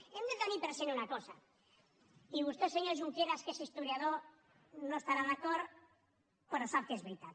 hem de tenir present una cosa i vostè senyor junqueras que és historiador no hi estarà d’acord però sap que és veritat